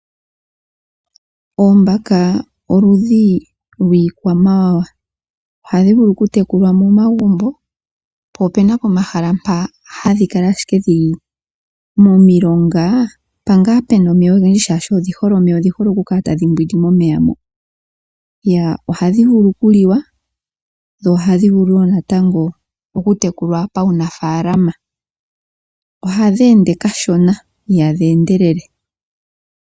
Oombaka oludhi lwiikwamawawa. Ohadhi vulu oku tekulwa momagumbo po opena pomahala mpa hadhi kala ashike dhili momilonga mpa ngaa pena omeya ogendji shaashi odhi hole omeya. Odhi hole oku kala tadhi mbwindi momeya mo. Ohadhi vulu oku liwa dho ohadhi vulu wo natango okutekukwa pawunafaalama. Ohadhi ende kashona ihadhi endelele.